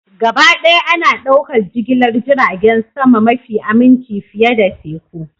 Gabaɗaya ana ɗaukar jigilar jiragen sama mafi aminci fiye da teku